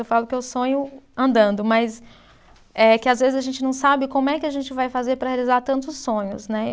Eu falo que eu sonho andando, mas é que às vezes a gente não sabe como é que a gente vai fazer para realizar tantos sonhos, né?